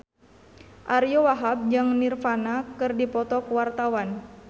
Ariyo Wahab jeung Nirvana keur dipoto ku wartawan